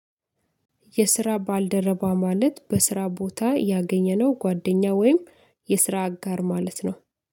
የስራ ባልደረባ ማለት በስራ ቦታ ያገኘነው ጓደኛ ወይም የስራ አጋር ማለት ነው።